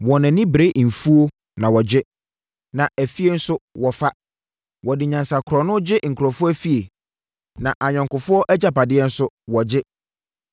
Wɔn ani bere mfuo na wɔgye. Na afie nso wɔfa. Wɔde nyansa korɔno gye nkurɔfoɔ afie, na ayɔnkofoɔ agyapadeɛ nso wɔgye.